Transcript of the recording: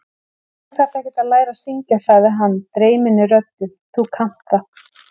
Þú þarft ekkert að læra að syngja, sagði hann dreyminni röddu: Þú kannt það.